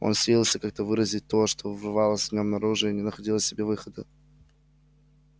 он силился как-то выразить то что рвалось в нем наружу и не находил себе выхода